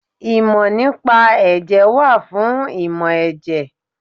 Ìmọ̀ nípa Ẹ̀jẹ̀ wà fún ìmọ̀ ẹ̀jẹ̀.